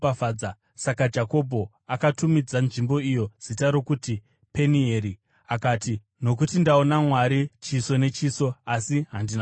Saka Jakobho akatumidza nzvimbo iyo zita rokuti Penieri, akati, “Nokuti ndaona Mwari chiso nechiso, asi handina kufa.”